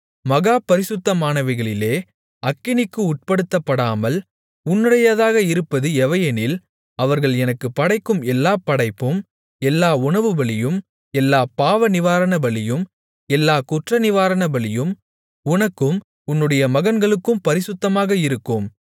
மகா பரிசுத்தமானவைகளிலே அக்கினிக்கு உட்படுத்தப்படாமல் உன்னுடையதாக இருப்பது எவையெனில் அவர்கள் எனக்குப் படைக்கும் எல்லாப் படைப்பும் எல்லா உணவுபலியும் எல்லாப் பாவநிவாரணபலியும் எல்லாக் குற்றநிவாரணபலியும் உனக்கும் உன்னுடைய மகன்களுக்கும் பரிசுத்தமாக இருக்கும்